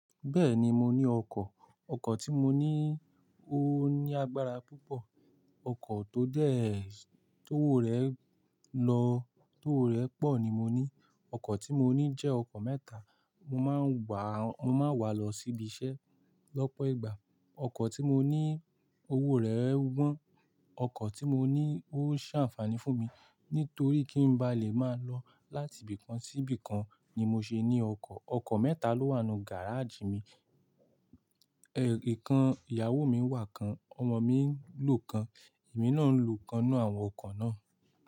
Bẹ́ẹ̀ni mo ní ọkọ̀, ọkọ̀ tí mo ní ó ní agbára púpọ̀, ọkọ̀ tó dẹ̀, tó ọwọ́ rẹ̀ lọ, tó ọwọ́ rẹ̀ pọ̀ ni mo ní. Ọkọ̀ tí mo ní jẹ́ ọkọ̀ mẹ́ta, mo máa ń gbà, mo máa ń wà á lọ síbi iṣẹ́ lọ́pọ̀ ìgbà. Ọkọ̀ tí mo ní owó rẹ̀ gbọ́n, ọkọ̀ tí mo ní ó ṣe àǹfààní fún mi nítorí kí n bá lè máa lọ láti ibìkan sí ibìkan ni mo ṣe ní ọkọ̀. Ọkọ̀ mẹ́ta ló wà nú gárájì mi, ẹ kan ìyàwó mi wà kan, ọmọ mi ń lò kan, èmi náà ń lò kan nínú àwọn ọkọ̀ náà.